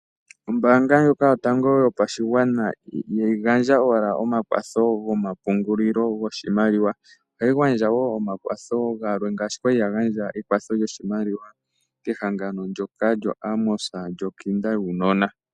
Ombanga ndjoka yatango pashigwana ihayi gandja owala omakwatho gokupungula oshimaliwa ohai gandja wo okwatho galwe ngaashi wo yali yagandja omakwatho kehangano lyokinda yaanona.